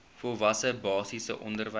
volwasse basiese onderwys